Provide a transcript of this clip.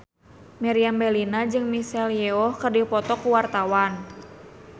Meriam Bellina jeung Michelle Yeoh keur dipoto ku wartawan